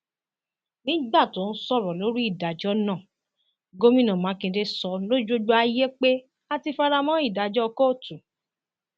nígbà tó ń sọrọ lórí ìdájọ náà gomina makinde sọ lójú gbogbo ayé pé a ti fara mọ ìdájọ kóòtù